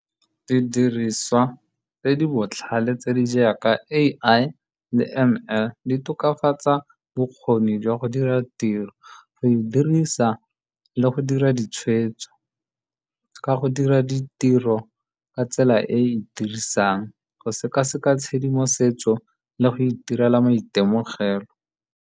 Didiriswa tse di botlhale, tse di jaaka A_I le M_L, di tokafatsa bokgoni jwa go dira tiro, go e dirisa le go dira ditshwetso, ka go dira ditiro ka tsela e e e dirisang go sekaseka tshedimosetso le go itirela maitemogelo.